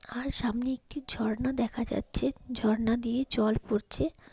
আর সামনে একটি ঝর্ণা দেখা যাচ্ছে ঝর্ণা দিয়ে জল পড়ছে ।